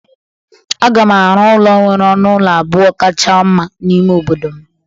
A ga m arụ ụlọ ụlọ nwere ọnụ ụlọ abụọ kacha mma n'ime obodo m